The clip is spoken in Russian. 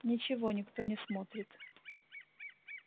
ничего никто не смотрит